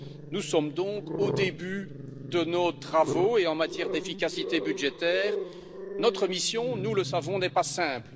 Nous sommes donc au début de nos travaux et, en matière d'efficacité budgétaire, notre mission nous le savons n'est pas simple.